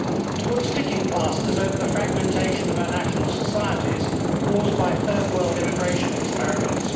to put sticking plasters over the fragmentation of our national societies caused by third world immigration experiments